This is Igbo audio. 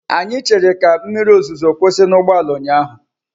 Anyị chere ka mmiri ozuzo kwụsị n'ụgbọala ụnyaahụ.